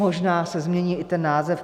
Možná se změní i ten název.